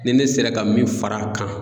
Ni ne sera ka min fara a kan